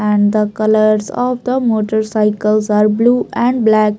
And the colours of the motorcycles are blue and black.